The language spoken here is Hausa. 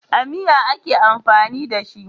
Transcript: A miya ake amfani da shi.